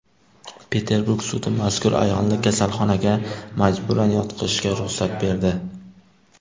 Peterburg sudi mazkur ayolni kasalxonaga majburan yotqizishga ruxsat berdi.